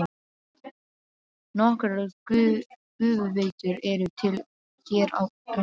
Nokkrar gufuveitur eru til hér á landi.